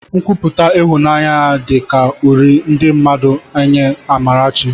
Nkwupụta ịhụnanya ya dị ka uri ndị mmadụ nye Amarachi